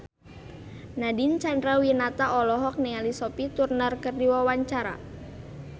Nadine Chandrawinata olohok ningali Sophie Turner keur diwawancara